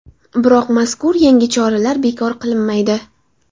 Biroq mazkur yangi choralar bekor qilinmaydi.